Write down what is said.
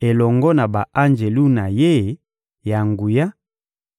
elongo na ba-anjelu na Ye ya nguya,